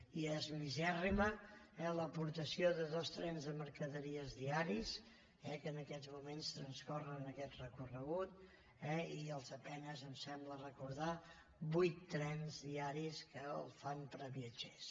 i és misèrrima eh l’aportació de dos trens de mercaderies diaris que ens aquests moments transcorren per aquest recorregut i els a penes em sembla recordar vuit trens diaris que el fan per a viatgers